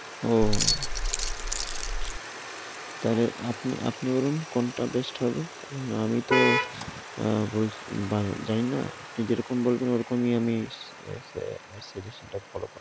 ও, তাইলে আপনি আপনি বলুন কোনটা best হবে? কারণ আমি তো অ্যা বলছি~ জানি না। আপনি যেরকম বলবেন ওরকমই আমি